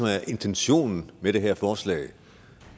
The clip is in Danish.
er intentionen med det her forslag